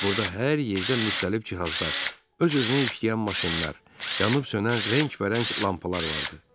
Burda hər yerdə müxtəlif cihazlar, öz-özünə işləyən maşınlar, yanıb-sönən rəngbərəng lampalar vardı.